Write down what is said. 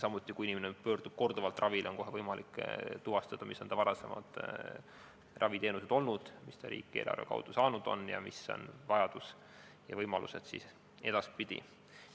Samuti, kui inimene pöördub korduvalt ravile, on kohe võimalik tuvastada, mis on olnud varasemad raviteenused, mis ta riigieelarve kaudu saanud on, ning millised on vajadused ja võimalused edaspidi.